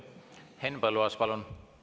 Henn Põlluaas, palun!